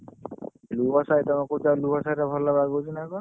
ନୂଆ ସାହି ତମେ କହୁଛ ବା ନୂଆ ସାହି ରେ ଭଲ ହବ ବୋଲି ନ କଣ?